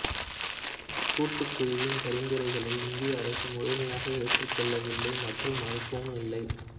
இக்கூட்டுக் குழுவின் பரிந்துரைகளை இந்திய அரசு முழுமையாக ஏற்றுக் கொள்ளவில்லை மற்றும் மறுக்கவும் இல்லை